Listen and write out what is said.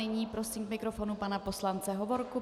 Nyní prosím k mikrofonu pana poslance Hovorku.